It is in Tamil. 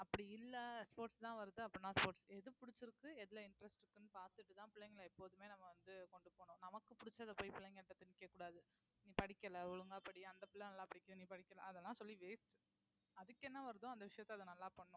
அப்படி இல்ல sports தான் வருது அப்டினா sports எது பிடிச்சிருக்கு எதுல interest பாத்துட்டுதான் பிள்ளைங்களை எப்போதுமே நம்ம வந்து கொண்டு போகணும் நமக்கு பிடிச்சதை போய் பிள்ளைங்ககிட்ட திணிக்கக்கூடாது நீ படிக்கலை ஒழுங்கா படி அந்த பிள்ளை நல்லா படிக்கிற நீ படிக்கிறதா அதெல்லாம் சொல்லி waste அதுக்கு என்ன வருதோ அந்த விஷயத்த அது நல்லா பண்ணும்